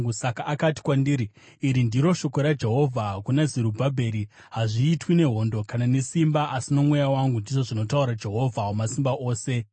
Saka akati kwandiri, “Iri ndiro shoko raJehovha kuna Zerubhabheri: ‘Hazviitwi nehondo kana nesimba, asi nomweya wangu,’ ndizvo zvinotaura Jehovha Wamasimba Ose.